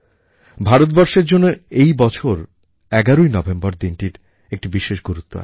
ভারতবর্ষের জন্যে এই বছর এগারোই নভেম্বর দিনটার একটা বিশেষ গুরুত্ব আছে